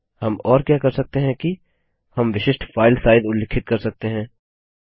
हम और क्या कर सकते हैं कि हम विशिष्ट फाइल साइज उल्लिखित कर सकते हैं